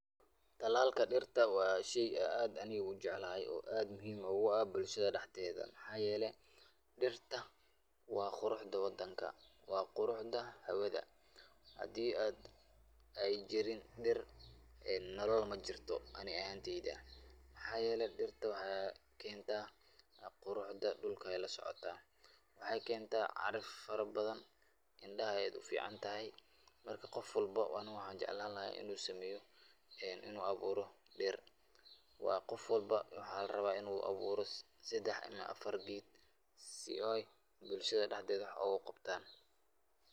Talalka dirta waa shay aad aniga u jeclahay oo aad muhiim ogu ah bulshada daxdeeda maxaa yeele dirta waa quruxda wadanka waa quruxda hawada hadii ay jirin dir nolal majirto ani ahaanteyda maxaa yeele dirta waxay keenta quruxda dhulka ayey lasocota waxay keenta caraf fara badan indhaha ayay u ficantahy marka qof walbo ani waxan jeclan laha inu sameyo en inu abuuro beer waa qof walbo waxaa laraba inu abuuro sadex ama afar geed si ay bulshada daxdeeda wax ogu qabtan.